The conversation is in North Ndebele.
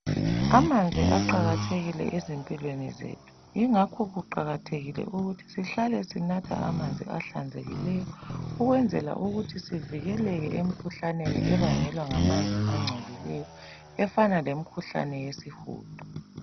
Amanzi aqakathekile ezimpilweni zethu yingakho kuqakathekile ukuthi sihlale sinatha amanzi ahlanzekileyo ukwenzela ukuthi sivikeleke emkhuhlaneni ebangelwa nggamanzi angcolileyo efana lemikhuhlane yesihudo.